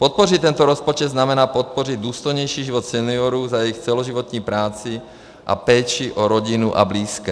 Podpořit tento rozpočet znamená podpořit důstojnější život seniorů za jejich celoživotní práci a péči o rodinu a blízké.